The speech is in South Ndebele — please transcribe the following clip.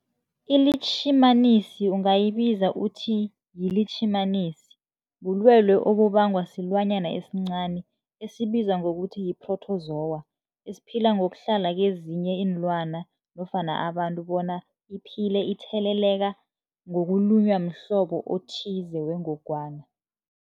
ILitjhimanisi ungayibiza uthiyilitjhimanisi, bulwelwe obubangwa silwanyana esincani esibizwa ngokuthiyi-phrotozowa ephila ngokuhlala kezinye iinlwana nofana abantu bona iphile itheleleka ngokulunywa mhlobo othize wengogwana.